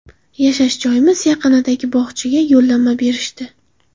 Yashash joyimiz yaqinidagi bog‘chaga yo‘llanma berishdi.